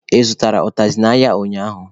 Ị zụtara ụtazị n'ahịa ụnyaahụ?.